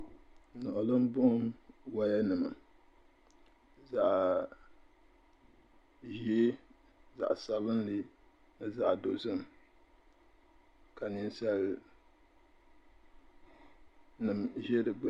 Niɣilimbuɣim wayanima zaɣ' ʒee zaɣ' sabilinli ni zaɣ' dozim ka ninsalinima za di gbini.